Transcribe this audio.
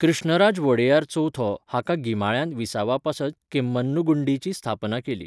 कृष्णराज वोडेयार चवथो हाका गिमाळ्यांत विसवापासत केम्मन्नुगुंडीची स्थापन केल्ली.